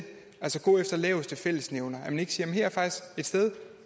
gå efter laveste fællesnævner at man ikke siger her er faktisk et sted